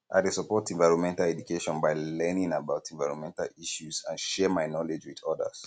i dey support environmental education by learning about environmental issues and share my knowledge with odas